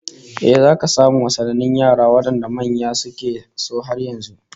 Eh, zaka samu wasannin yara wadanda manya suke so har yanzu